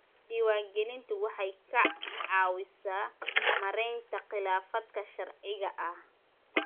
Diiwaangelintu waxay ka caawisaa maaraynta khilaafaadka sharciga ah.